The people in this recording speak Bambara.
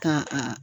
Ka a